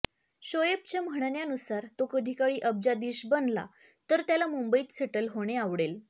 शोएबच्या म्हणण्यानुसार तो कधीकाळी अब्जाधीश बनला तर त्याला मुंबईत सेटल होणे आवडेल